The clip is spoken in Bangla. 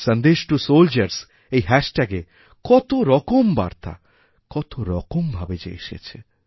সন্দেশ টু সোলজারস্ এই হ্যাশট্যাগে কতরকম বার্তা কতরকম ভাবে যে এসেছে